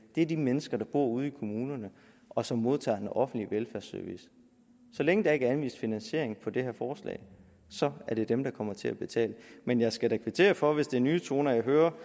det er de mennesker der bor ude i kommunerne og som modtager en offentlig velfærdsservice så længe der ikke er anvist finansiering på det her forslag er det dem der kommer til at betale men jeg skal da kvittere for det hvis det er nye toner jeg hører